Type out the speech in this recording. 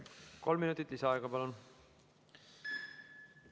Kolm minutit lisaaega, palun!